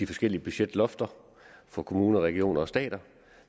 forskellige budgetlofter for kommuner regioner og stat